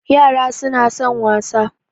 Yara suna son wasa